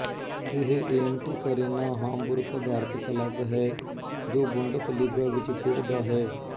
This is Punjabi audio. ਇਹ ਏਮਟੇਕ ਅਰੇਨਾ ਹਾਮਬੁਰਕ ਅਧਾਰਤ ਕਲੱਬ ਹੈ ਜੋ ਬੁੰਡਸਲੀਗਾ ਵਿੱਚ ਖੇਡਦਾ ਹੈ